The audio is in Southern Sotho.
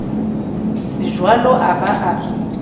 tsejwalo a ba a re